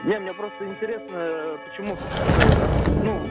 не мне просто интересно почему ну